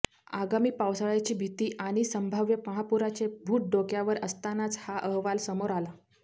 आगामी पावसाळ्याची भीती आणि संभाव्य महापुराचे भूत डोक्यावर असतानाच हा अहवाल समोर आला